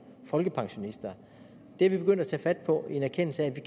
folkepensionister det er vi begyndt at tage fat på i en erkendelse af at vi